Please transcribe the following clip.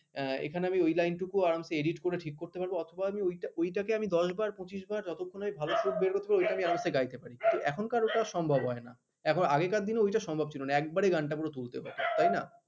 এখানে আমি ঐ line কু আমি edit করে ঠিক করতে পারব অথবা আমি ওইটা ওইটাকে আমি দশবার পঁচিশ বার যতক্ষণ না আমি ভালো করে বের করতে পারব ওইটা আমি গাইতে পারি এখনকার ওটা সম্ভব হয় না আগেকার দিনে ওটা সম্ভব ছিল না একেবারে পুরো গানটা গানটা পুরো তুলতে হবে।